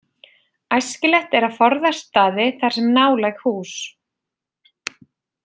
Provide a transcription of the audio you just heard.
Æskilegt er að forðast staði þar sem nálæg hús.